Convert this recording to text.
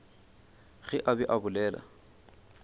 ge a be a bolela